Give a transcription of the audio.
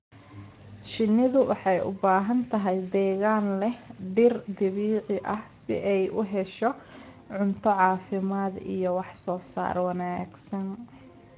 Shinnidu waxay u baahan tahay deegaan leh dhir dabiici ah si ay u hesho cunto caafimaad iyo wax soo saar wanaagsan.